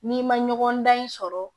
N'i ma ɲɔgɔndan in sɔrɔ